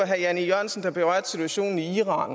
herre jan e jørgensen der berørte situationen i irak